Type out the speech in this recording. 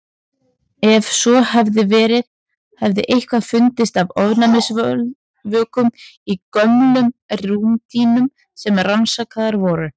Ef svo hefði verið hefði eitthvað fundist af ofnæmisvökum í gömlum rúmdýnum sem rannsakaðar voru.